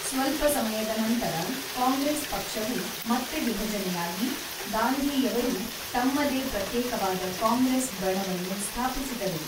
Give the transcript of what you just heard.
ಸ್ವಲ್ಪ ಸಮಯದ ನಂತರ, ಕಾಂಗ್ರೆಸ್ ಪಕ್ಷವು ಮತ್ತೆ ವಿಭಜನೆಯಾಗಿ, ಗಾಂಧಿಯವರು ತಮ್ಮದೇ ಪ್ರತ್ಯೇಕವಾದ ಕಾಂಗ್ರೆಸ್ ಬಣವನ್ನು ಸ್ಥಾಪಿಸಿದರು.